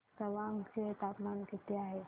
आज तवांग चे तापमान किती आहे